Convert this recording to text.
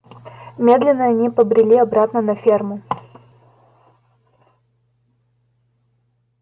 медленно они побрели обратно на ферму